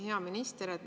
Hea minister!